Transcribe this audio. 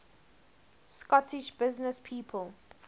scottish businesspeople